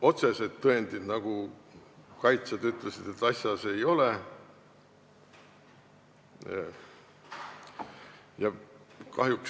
Otseseid tõendeid, kaitsjad ütlesid, asjas ei ole.